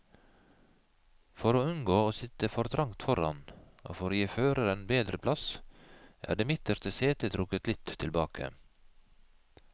For å unngå å sitte for trangt foran, og for å gi føreren bedre plass, er det midterste setet trukket litt tilbake.